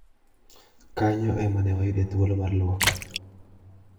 Kanyo emane wayude thuolo mar luok."